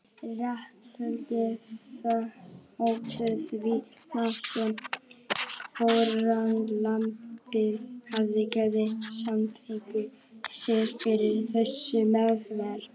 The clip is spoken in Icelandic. Réttarhöldin þóttu því snúin þar sem fórnarlambið hafði gefið samþykki sitt fyrir þessari meðferð.